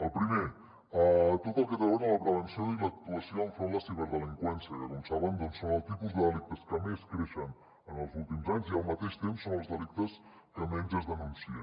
el primer tot el que té a veure amb la prevenció i l’actuació enfront de la ciberdelinqüència que com saben és el tipus de delictes que més creix en els últims anys i al mateix temps són els delictes que menys es denuncien